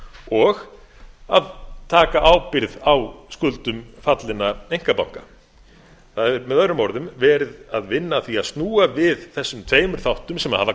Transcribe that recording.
og taka ábyrgð á skuldum fallinna einkabanka það er með öðrum orðum verið að vinna að því að snúa við þessum tveimur þáttum sem hafa